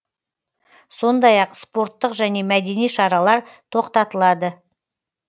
сондай ақ спорттық және мәдени шаралар тоқтатылады